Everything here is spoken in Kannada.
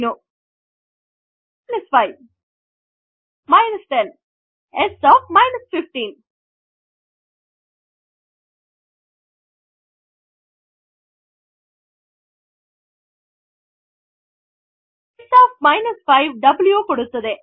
s 5 s 10 s 15 ಈಗ s ಒಎಫ್ 5 W ಕೊಡುತ್ತದೆ